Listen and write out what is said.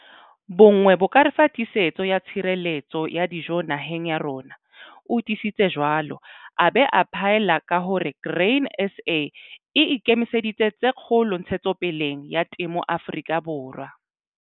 Bonngwe bo ka re fa tiisetso ya tshireletso ya dijo naheng ya rona, o tiisitse jwalo, a ba a phaella ka hore Grain SA e ikemiseditse tse kgolo ntshetsopeleng ya temo Afrika Borwa.